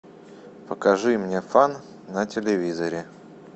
покажи мне фан на телевизоре